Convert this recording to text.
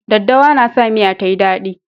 Daddawa na sa miya ta yi dadi.